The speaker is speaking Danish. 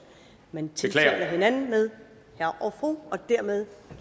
man tiltaler hinanden med herre og fru og dermed